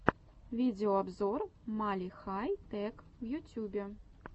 видеообзор мали хай тэк в ютюбе